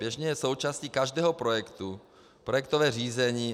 Běžně je součástí každého projektu projektové řízení.